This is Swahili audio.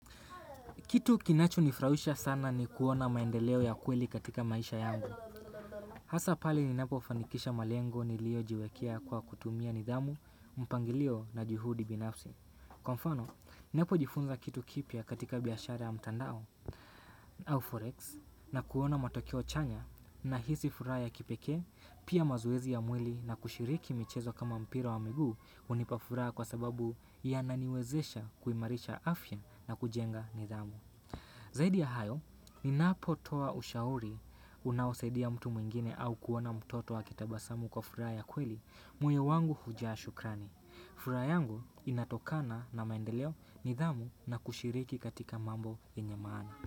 Kitu kinacho nifraisha sana ni kuona maendeleo ya kweli katika maisha yangu. Hasa pale ninapo fanikisha malengo nilio jiwekea kwa kutumia nidhamu, mpangilio na jihudi binafsi. Kwa mfano, ninapo jifunza kitu kipia katika biashara ya mtandao, au forex, na kuona matokeo chanya na hisi furaha ya kipeke, pia mazoezi ya mwili na kushiriki michezo kama mpira wa miguu unipafuraha kwa sababu ya naniwezesha kuimarisha afya na kujenga nidhamu. Zaidi ya hayo, ni napotoa ushauri unaosaidia mtu mwingine au kuona mtoto wa kitabasamu kwa furaha ya kweli, moyo wangu hujaa shukrani. Furaha yangu inatokana na maendeleo ni dhamu na kushiriki katika mambo yenye maana.